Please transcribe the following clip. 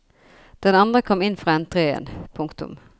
Den andre kom inn fra entreen. punktum